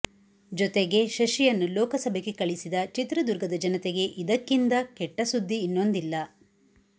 ಜೊತೆಗೇ ಶಶಿಯನ್ನು ಲೋಕಸಭೆಗೆ ಕಳಿಸಿದ ಚಿತ್ರದುರ್ಗದ ಜನತೆಗೆ ಇದಕ್ಕಿಂದ ಕೆಟ್ಟ ಸುದ್ದಿ ಇನ್ನೊಂದಿಲ್ಲ